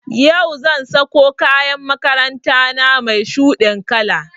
Yau zan sako kayan makaranta na mai shuɗin kala